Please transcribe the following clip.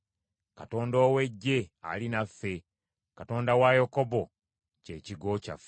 Katonda ow’Eggye ali naffe; Katonda wa Yakobo kye kigo kyaffe.